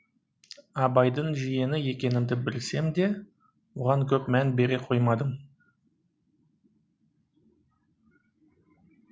абайдың жиені екенімді білсем де оған көп мән бере қоймадым